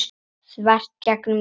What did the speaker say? þvert gegnum Ísland.